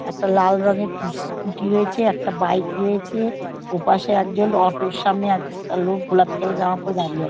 একটা লাল রঙের স্কু স্ক্যুটি রয়েছে একটা বাইক রয়েছে ওপাশে একজন অটো -এর সামনে একটা লোক গোলাপি কালার -এর জামা পরে দাঁড়িয়ে আ--